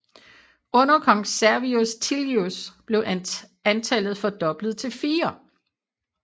Under kong Servius Tullius blev antallet fordoblet til fire